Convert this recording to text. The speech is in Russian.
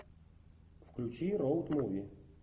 включи роуд муви